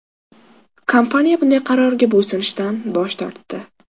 Kompaniya bunday qarorga bo‘ysunishdan bosh tortdi.